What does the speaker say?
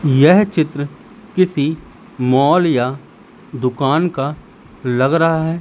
यह चित्र किसी मॉल या दुकान का लग रहा है।